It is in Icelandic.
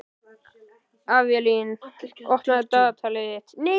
Avelín, opnaðu dagatalið mitt.